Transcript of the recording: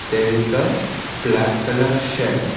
there is a black colour shed.